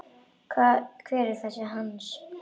Hver er þessi Hans?